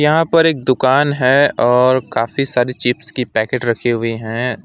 यहाँ पर एक दुकान है और काफी सारी चिप्स की पैकेट रखी हुई हैं।